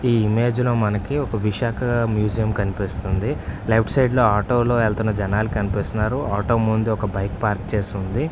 ఈ ఇమేజ్ లో మనకి ఒక విశాఖ మ్యూజియమ్ కనిపిస్తుంది లెఫ్ట్ సైడ్ లో ఆటో లో వెళ్తున్న జనాలు కనిపిస్తున్నారు.ఆటో ముందు ఒక బైక్‌ పార్క్ చేసి ఉంది.